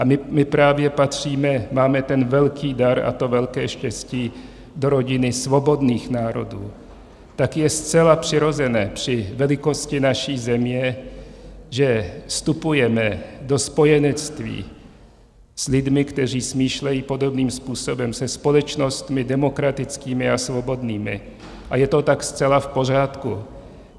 A my právě patříme, máme ten velký dar a to velké štěstí, do rodiny svobodných národů, tak je zcela přirozené při velikosti naší země, že vstupujeme do spojenectví s lidmi, kteří smýšlejí podobným způsobem, se společnostmi demokratickými a svobodnými, a je to tak zcela v pořádku.